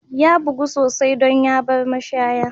Ya bugu sosai don ya bar mashaya.